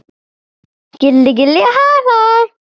Gilli gilli hlæ hlæ.